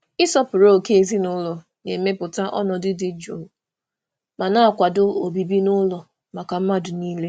um Ịsọpụrụ ókè ezinụlọ na-emepụta ọnọdụ dị jụụ ma na-akwado obibi n'ụlọ maka mmadụ niile.